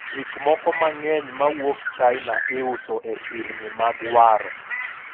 gikmoko mang'eny mawuok China iuso e sirni mag waro